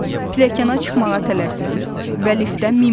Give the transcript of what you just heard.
Pilləkəna çıxmağa tələsməyin və liftə minməyin.